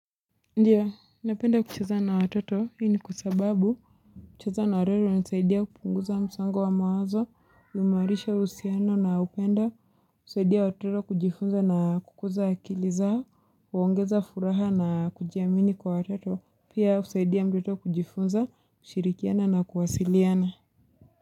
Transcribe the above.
Ndiyo napenda kucheza na watoto hii ni kwa sababu kucheza na watoto hunisaidia kupunguza msongo wa mawazo, kuimawarisha uhusiano na upendo husaidia watoto kujifunza na kukuza akili zao, huongeza furaha na kujiamini kwa watoto, pia husaidia mdoto kujifunza, kushirikiana na kuwasiliana.